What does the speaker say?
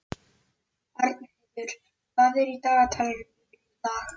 Arnheiður, hvað er í dagatalinu mínu í dag?